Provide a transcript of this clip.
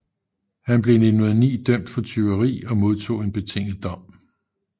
Han blev i 1909 dømt for tyveri og modtog en betinget dom